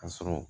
Ka sɔrɔ